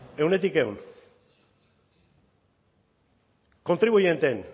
ehuneko ehun kontribuienteen